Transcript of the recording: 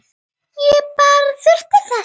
Ég bara þurfti þess.